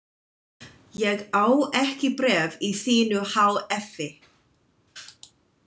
Ég á ekki bréf í þínu há effi.